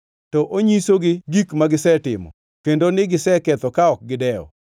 to onyisogi gik magisetimo; kendo ni giseketho ka ok gidewo.